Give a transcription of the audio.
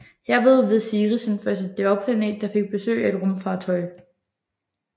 Herved var Ceres den første dværgplanet der fik besøg af et rumfartøj